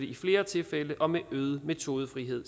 i flere tilfælde og med øget metodefrihed